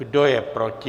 Kdo je proti?